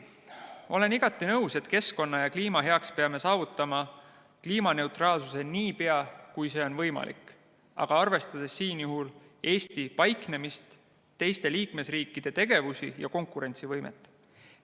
Olen igati nõus, et keskkonna ja kliima heaks peame saavutama kliimaneutraalsuse niipea, kui see on võimalik, aga peame arvestama Eesti paiknemist, teiste liikmesriikide tegevusi ja konkurentsivõimet.